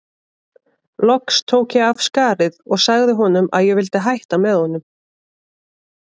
Loks tók ég af skarið og sagði honum að ég vildi hætta með honum.